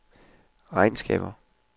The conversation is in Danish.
regnskaber